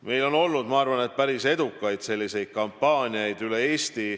Meil on olnud, ma arvan, päris edukaid selliseid kampaaniaid üle Eesti.